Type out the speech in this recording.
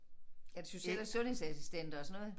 Er det Social- og sundhedsassistenter og sådan noget